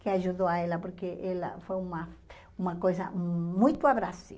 que ajudou ela, porque ela foi uma uma coisa muito abrasiva.